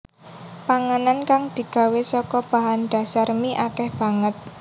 Panganan kang digawé saka bahan dhasar mie akèh banget